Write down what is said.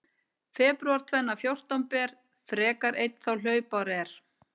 Febrúar tvenna fjórtán ber, frekar einn þá hlaupár er.